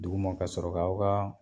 Duguma ka sɔrɔ k'aw ka